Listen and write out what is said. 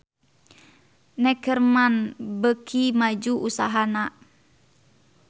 Neckerman beuki maju usahana